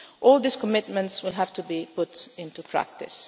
All these commitments will have to be put into practice.